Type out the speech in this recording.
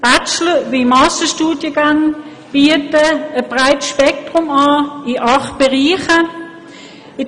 Bachelor- wie Masterstudiengänge bieten ein breites Spektrum in acht Bereichen an.